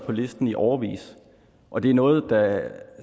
på listen i årevis og det er noget der